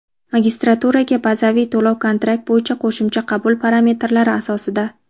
magistraturaga bazaviy to‘lov-kontrakt bo‘yicha qo‘shimcha qabul parametrlari asosida.